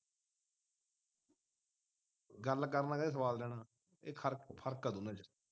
ਗੱਲ ਕਰਨ ਲੱਗਿਆਂ ਵੀ ਸੁਆਦ ਲੈਣਾ ਇਹ ਫਰਕ ਫਰਕ ਹੈ ਦੋਨਾਂ ਚ